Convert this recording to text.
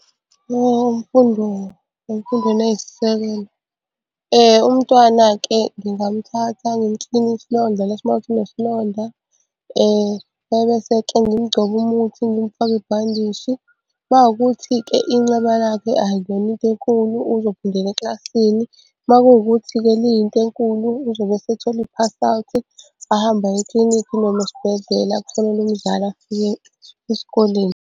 Umntwana-ke ngingamuthatha ngimukline isilonda lesi uma kuwukuthi unesilonda ebese-ke ngimugcoba umuthi ngimfake ibhandishi. Uma kuwukuthi-ke inceba lakhe akuyona into enkulu uzophindela eklasini. Uma kukuthi-ke liyinto enkulu uzobe esethola i-pass-out, ahambe aye eklinikhi noma esibhedlela kufonelwe umzali afike esikoleni.